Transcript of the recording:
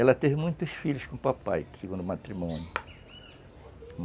Ela teve muitos filhos com papai, do segundo o matrimônio.